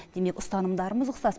демек ұстанымдарымыз ұқсас